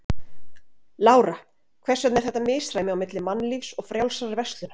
Lára: Hvers vegna er þetta misræmi á milli Mannlífs og Frjálsrar verslunar?